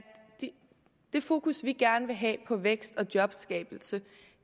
det fokus vi gerne vil have på vækst og jobskabelse